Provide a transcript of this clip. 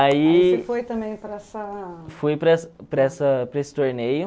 Aí... Você foi também para essa... Fui para essa para essa para esse torneio.